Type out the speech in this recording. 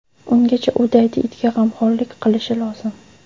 Ungacha u daydi itga g‘amxo‘rlik qilishi lozim.